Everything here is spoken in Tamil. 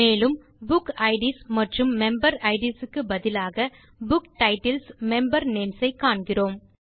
மேலும் புக்கிட்ஸ் மற்றும் மெம்பரிட்ஸ் க்கு பதிலாக புத்தக தலைப்புகள் மெம்பர் பெயர்களை காண்கிறோம்